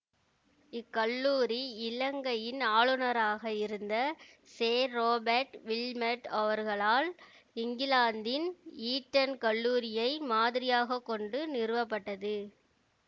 இக்கல்லூரி இலங்கையின் ஆளுனராக இருந்த சேர்றொபேட் வில்மட் அவர்களால் இங்கிலாந்தின் ஈட்டன் கல்லூரியை மாதிரியாக கொண்டு நிறுவப்பட்டது